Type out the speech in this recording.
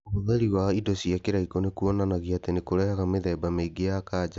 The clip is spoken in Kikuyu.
Ũhũthĩri wa indo cia kĩraikũ nĩ kuonanagia atĩ nĩ kũrehaga mĩthemba mĩingĩ ya kanja.